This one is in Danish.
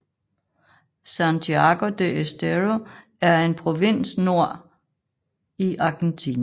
Santiago del Estero er en provins nord i Argentina